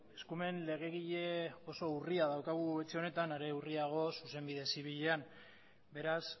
eskumen legegile oso urria daukagu etxe honetan are urriago zuzenbide zibilean beraz